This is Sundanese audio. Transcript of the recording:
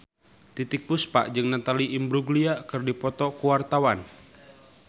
Titiek Puspa jeung Natalie Imbruglia keur dipoto ku wartawan